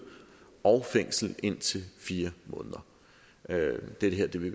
og fængsel i indtil fire måneder det her vil vi